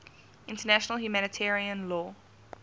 international humanitarian law